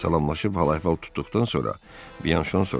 Salamlaşıb hal-əhval tutduqdan sonra Byanşon soruştu: